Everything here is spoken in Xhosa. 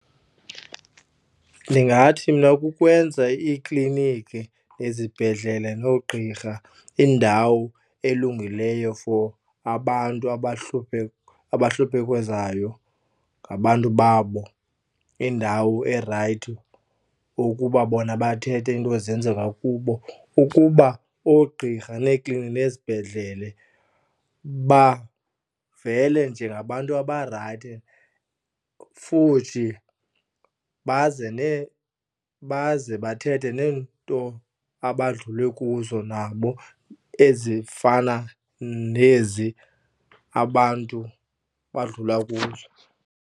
Ndingathi mna kukwenza iikliniki nezibhedlele noogqirha indawo elungileyo for abantu ngabantu babo indawo erayithi ukuba bona bathethe iinto ezenzeka kubo ukuba oogqirha neekliniki nezibhedlele bavele njengabantu abarayithi, futhi baze baze bathethe nento abadlule kuzo nabo ezifana nezi abantu badlula kuzo.